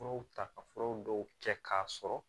Furaw ta ka furaw dɔw kɛ k'a sɔrɔ